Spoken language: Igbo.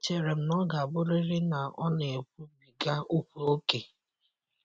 Echere m na ọ ga-abụrịrị na ọ na-ekwubiga okwu ókè.